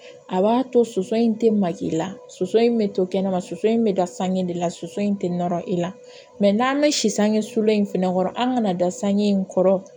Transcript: A b'a to soso in tɛ mali la soso in bɛ to kɛnɛma soso in bɛ da sange de la soso in tɛ nɔrɔ i la mɛ n'an bɛ si sange so in fana kɔrɔ an ka na da sange in kɔrɔ